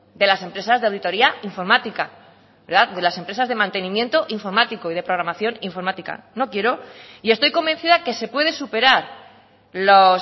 de las empresas de auditoría informática de las empresas de mantenimiento informático y de programación informática no quiero y estoy convencida que se puede superar los